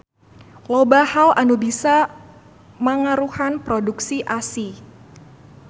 Loba hal anu bisa mangaruhan produksi ASI.